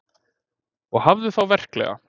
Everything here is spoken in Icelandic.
Og hafðu þá verklega.